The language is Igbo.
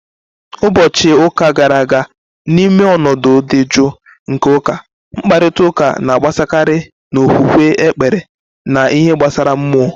Ụbọchị ụka gara aga, N'ime ọnọdụ dị jụụ nke ụka, mkparịta ụka na-agbasakarị n'okwukwe, ekpere, na ihe gbasara mmụọ.